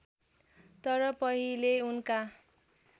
तर पहिले उनका